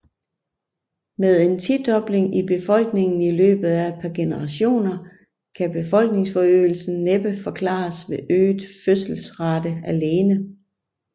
Med en tidobling i befolkningen i løbet af et par generationer kan befolkningsforøgelsen næppe forklares ved øget fødselsrate alene